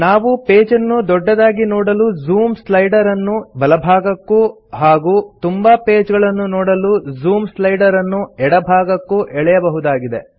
ನಾವು ಪೇಜನ್ನು ದೊಡ್ಡದಾಗಿ ನೋಡಲು ಜೂಮ್ ಸ್ಲೈಡರ್ ಅನ್ನು ಬಲಭಾಗಕ್ಕೂ ಹಾಗೂ ತುಂಬಾ ಪೇಜ ಗಳನ್ನು ನೋಡಲು ಜೂಮ್ ಸ್ಲೈಡರ್ ಅನ್ನು ಎಡಭಾಗಕ್ಕೂ ಎಳೆಯಬಹುದಾಗಿದೆ